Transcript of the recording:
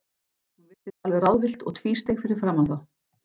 Hún virtist alveg ráðvillt og tvísteig fyrir framan þá.